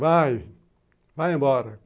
Vai, vai embora.